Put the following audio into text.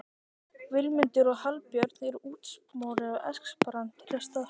Vilmundur og Hallbjörn eru útsmognir esperantistar